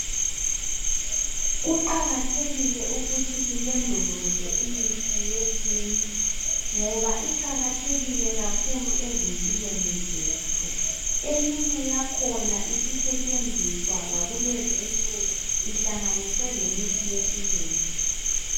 Kuqakathekile ukuthi silondeleze imithi yesintu, ngoba iqakathekile ezimpilweni zethu. Eminye yakhona isisetshenziswa lakulezi insuku ihlanganiswe lemithi yesilungu.